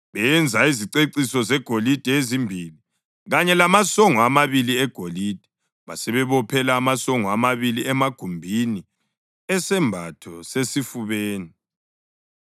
Benza iziceciso zegolide ezimbili, kanye lamasongo amabili egolide, basebebophela amasongo amabili emagumbini esembatho sesifubeni.